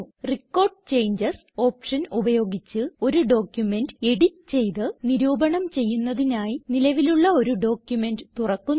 record changes option ഉപയോഗിച്ച് ഒരു document edit ചെയ്ത് നിരൂപണം ചെയ്യുന്നതിനായി നിലവിലുള്ള ഒരു ഡോക്യുമെന്റ് തുറക്കുന്നു